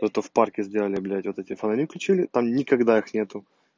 зато в парке сделали блять вот эти фонари включили там никогда их нету